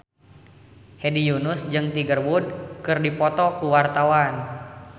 Hedi Yunus jeung Tiger Wood keur dipoto ku wartawan